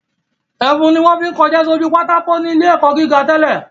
Ẹfun ni wọ́n fi ń kọṣẹ́ sójú pátákó ní ilé ẹ̀kọ́ gíga tẹ́lẹ̀